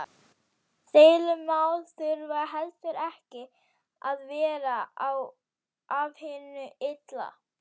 Deilumál þurfa heldur ekki að vera af hinu illa.